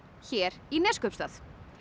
hér í Neskaupstað